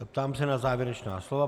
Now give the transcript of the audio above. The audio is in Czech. Ptám se na závěrečná slova.